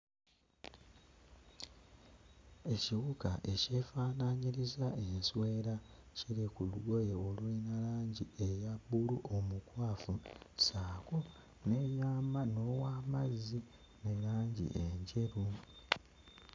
Ekiwuka ekyefaanaanyiriza enswera kiri ku lugoye olulina langi eya bbulu omukwafu, ssaako n'eyama n'owamazzi ne langi enjeru.